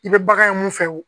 I bɛ bagan ye mun fɛ wo